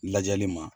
Lajɛli ma